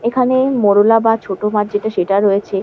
এখানে মোড়লা বা ছোট মাছ যেটা সেটা রয়েছে।